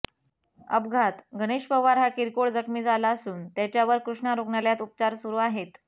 अपघात गणेश पवार हा किरकोळ जखमी झाला असून त्याच्यावर कृष्णा रूग्णालयात उपचार सुरू आहेत